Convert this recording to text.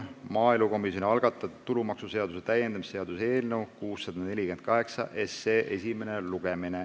Maaelukomisjoni algatatud tulumaksuseaduse täiendamise seaduse eelnõu 648 esimene lugemine.